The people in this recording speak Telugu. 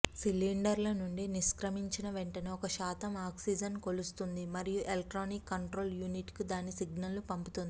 సిలిండర్ల నుండి నిష్క్రమించిన వెంటనే ఒక శాతం ఆక్సిజన్ కొలుస్తుంది మరియు ఎలక్ట్రానిక్ కంట్రోల్ యూనిట్కు దాని సిగ్నల్ను పంపుతుంది